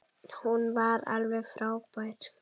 Hún var alveg frábær.